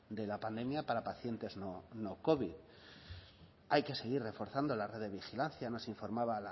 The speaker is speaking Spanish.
de la pandemia para pacientes no covid hay que seguir reforzando la red de vigilancia nos informaba